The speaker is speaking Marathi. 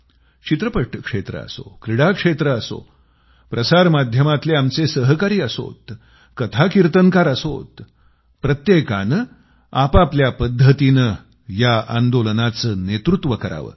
चित्रपट क्षेत्र असो क्रीडा क्षेत्र असो प्रसार माध्यमातले आमचे सहकारी असो कथाकीर्तनकार असो प्रत्येकानं आपआपल्या पद्धतीनं या आंदोलनाचं नेतृत्व करावं